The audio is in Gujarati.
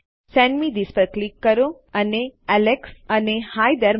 સેન્ડ મે થિસ પર ક્લિક કરો અને Alexઅને હી થેરે